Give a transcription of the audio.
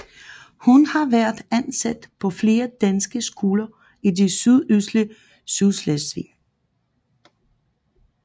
Hun har været ansat på flere danske skoler i det sydøstlige Sydslesvig